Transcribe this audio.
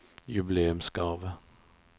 jubileumsgave